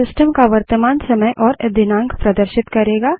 यह सिस्टम का वर्तमान समय और दिनांक प्रदर्शित करेगा